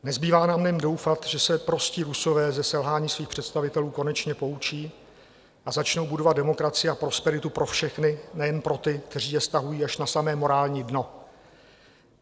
Nezbývá nám jen doufat, že se prostí Rusové ze selhání svých představitelů konečně poučí a začnou budovat demokracii a prosperitu pro všechny, nejen pro ty, kteří je stahují až na samé morální dno.